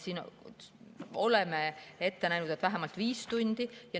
Oleme ette näinud, et vähemalt viis tundi.